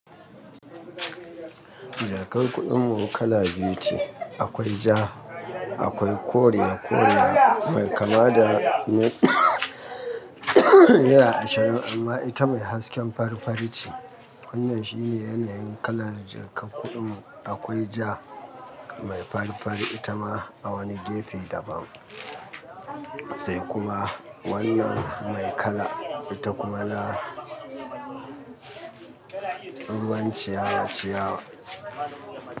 Jarkan kuɗin mu kala biyu ce. Akwai ja, akwai kore kora mai kama da naira ashirin amma ita mai hasken farfari ce. Wannan shi ne yanayin kalar jarkan kuɗin. Akwai ja mai farfari itama a wani gefe daban sai kuma wannan mai kala. Ita kuma na ruwan ciyawa ciyawa.